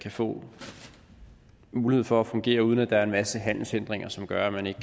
få mulighed for at fungere uden at der er en masse handelshindringer som gør at man ikke